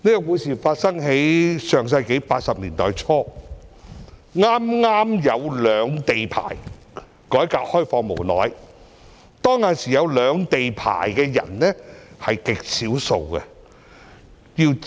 故事發生在上世紀80年代初，內地改革開放不久，剛推出兩地牌照。